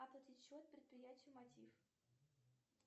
оплатить счет предприятию мотив